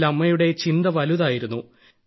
ഇതിൽ അമ്മയുടെ ചിന്ത വലുതായിരുന്നു